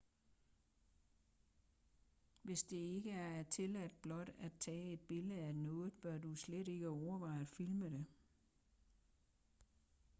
hvis det ikke er tilladt blot at tage et billede af noget bør du slet ikke overveje at filme det